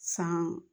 San